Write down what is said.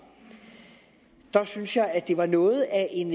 synes jeg at det var noget af en